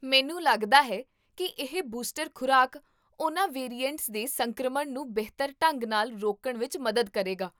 ਮੈਨੂੰ ਲੱਗਦਾ ਹੈ ਕੀ ਇਹ ਬੂਸਟਰ ਖ਼ੁਰਾਕ ਉਹਨਾਂ ਵੇਰੀਐਂਟਸ ਦੇ ਸੰਕਰਮਣ ਨੂੰ ਬਿਹਤਰ ਢੰਗ ਨਾਲ ਰੋਕਣ ਵਿੱਚ ਮਦਦ ਕਰੇਗਾ